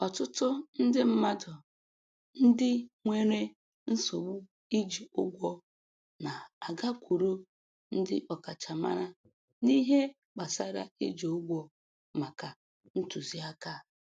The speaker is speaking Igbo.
Ọtụtụ ndị mmadụ ndị nwere nsogbu iji ụgwọ na-agakwuru ndị ọkachamara n'ihe gbasara iji ụgwọ maka ntụziaka